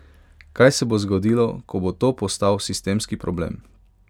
Kaj se bo zgodilo, ko bo to postal sistemski problem?